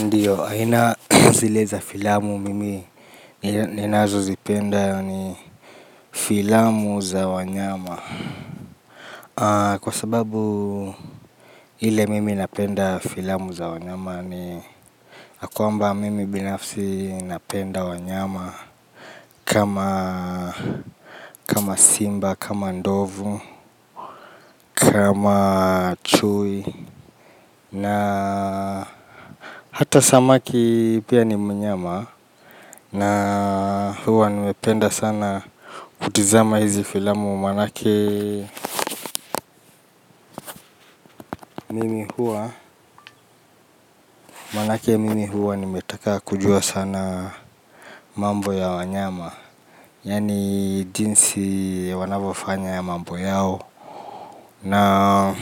Ndiyo, aina zile za filamu mimi ninazozipenda ni filamu za wanyama kwa sababu ile mimi napenda filamu za wanyama ni ya kwamba mimi binafsi napenda wanyama kama simba, kama ndovu, kama chui na hata samaki pia ni mnyama. Na huwa nimependa sana kutizama hizi filamu maanake mimi huwa nimetaka kujua sana mambo ya wanyama yaani jinsi wanavyofanya mambo yao. Na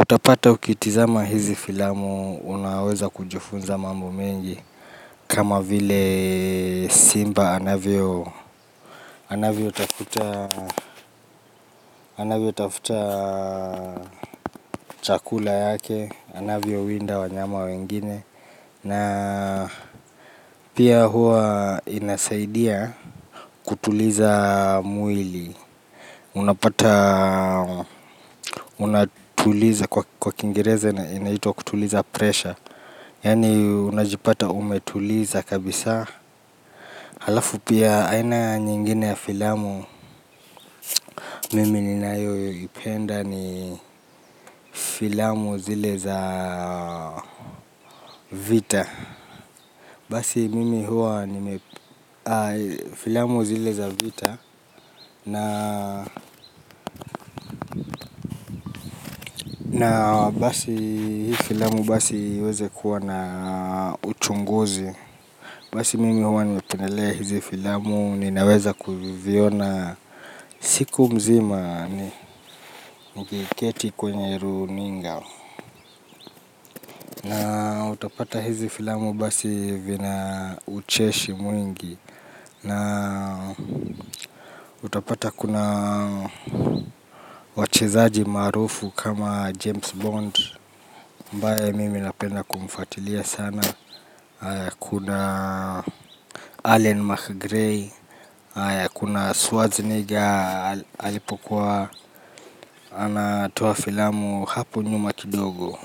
utapata ukitizama hizi filamu unaweza kujifunza mambo mengi. Kama vile simba anavyotafuta chakula yake, anavyowinda wanyama wengine. Na pia huwa inasaidia kutuliza mwili. Unapata unatuliza, kwa kiingereza na inaitwa kutuliza pressure. Yaani unajipata umetuliza kabisa. Alafu pia aina nyingine ya filamu, mimi ninayoipenda ni filamu zile za vita. Basi mimi huwa ni filamu zile za vita na basi hii filamu basi iweze kuwa na uchunguzi. Basi mimi huwa nimependelea hizi filamu ninaweza kuviviona siku mzima nikiketi kwenye runinga. Utapata hizi filamu basi vina ucheshi mwingi na utapata kuna wachezaji maarufu kama James Bond ambaye mimi napenda kumfuatilia sana. Kuna Allen McGray, kuna Schwarzenegger, alipokuwa anatoa filamu hapo nyuma kidogo.